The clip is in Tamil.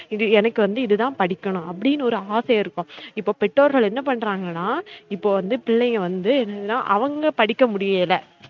இது எனக்கு வந்து இது தான் படிக்கனும் அப்டினு ஒரு ஆசை இருக்கும் இப்ப பெற்றோர்கள் என்ன பண்றாங்கனா இப்ப வந்து பிள்ளைங்க வந்து என்னதுனா அவுங்க படிக்க முடியல